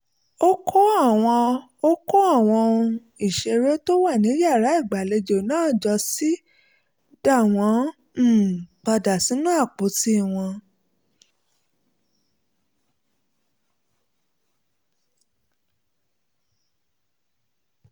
ó kó àwọn ó kó àwọn ohun ìṣeré tó wà ní yàrá ìgbàlejò náà jọ ó sì dá wọn um padà sínú àpótí wọn